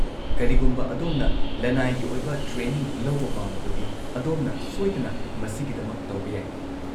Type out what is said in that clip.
ꯀꯔꯤꯒꯨꯝꯕ ꯑꯗꯣꯝꯅ ꯂꯅꯥꯏꯒꯤ ꯑꯣꯏꯕ ꯇ꯭ꯔꯦꯅꯤꯡ ꯂꯧꯕ ꯄꯥꯝꯂꯕꯗꯤ, ꯑꯗꯣꯝꯅ ꯁꯣꯏꯗꯅ ꯃꯁꯤꯒꯤꯗꯃꯛ ꯇꯧꯕ ꯌꯥꯏ꯫